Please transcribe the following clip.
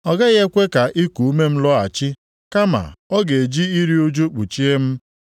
Ọ gaghị ekwe ka iku ume m lọghachi kama ọ ga-eji iru ụjụ kpuchie m.